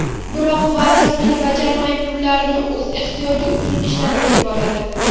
Biroq va’dasini bajarmay, pullarni o‘z ehtiyoji uchun ishlatib yuboradi.